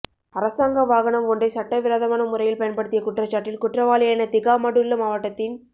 அரசாங்க வாகனம் ஒன்றை சட்ட விரோதமான முறையில் பயன்படுத்திய குற்றச்சாட்டில் குற்றவாளியான திகாமடுல்ல மாவட்டத்தின்